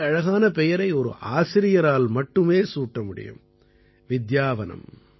இத்தனை அழகான பெயரை ஒரு ஆசிரியரால் மட்டுமே சூட்ட முடியும் வித்யாவனம்